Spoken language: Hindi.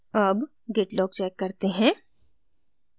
अब git log check करते हैं